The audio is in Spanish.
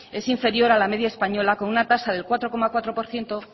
es inferior a la media española con una tasa del cuatro coma cuatro por ciento